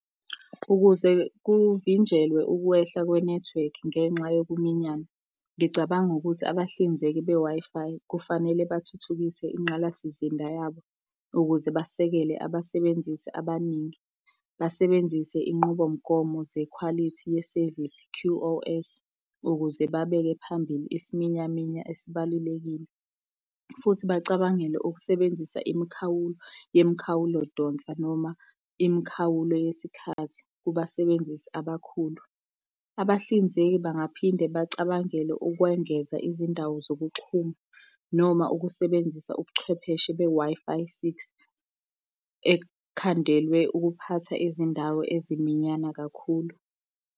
Ukuze kuvinjelwe ukwehla kwenethiwekhi ngenxa yokuminyana, ngicabanga ukuthi abahlinzeki be-Wi-Fi, kufanele bathuthukise ingqalasizinda yabo, ukuze basekele abasebenzisi abaningi, basebenzise inqubomgomo zekhwalithi yesevisi, Q_O_S, ukuze babeke phambili isiminyaminya esibalulekile. Futhi bacabangele ukusebenzisa imikhawulo yemikhawulodonsa noma imikhawulo yesikhathi kubasebenzisi abakhulu. Abahlinzeki bangaphinde bacabangele ukwengeza izindawo zokuxhuma, noma ukusebenzisa ubuchwepheshe be-Wi-Fi Six, ekhandelwe ukuphatha izindawo eziminyana kakhulu.